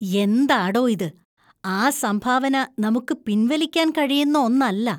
എന്താടോ ഇത്? ആ സംഭാവന നമുക്ക് പിൻവലിക്കാൻ കഴിയുന്ന ഒന്നല്ല.